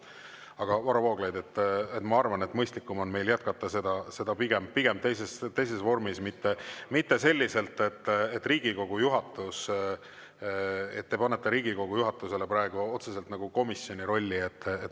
Aga Varro Vooglaid, ma arvan, et mõistlikum on meil jätkata seda teises vormis, mitte selliselt, et te panete Riigikogu juhatuse praegu otseselt nagu komisjoni rolli.